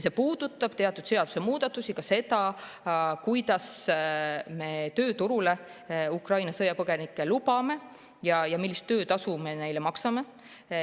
See puudutab teatud seadusemuudatusi, ka seda, kuidas me tööturule Ukraina sõjapõgenikke lubame ja millist töötasu me neile maksame.